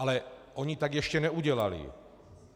Ale oni tak ještě neudělali.